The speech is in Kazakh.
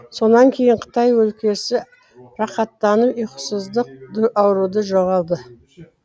сонан кейін қытай өлкесі рахаттанып ұйқысыздық ауруды жоғалды